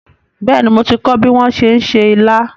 Bẹ́ẹ̀ni, mo ti kọ́ bí wón ti ń se ilá